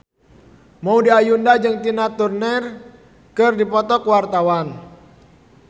Maudy Ayunda jeung Tina Turner keur dipoto ku wartawan